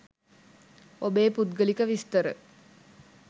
ඔබේ පුද්ගලික විස්තර